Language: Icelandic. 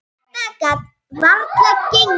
Þetta gat varla gengið.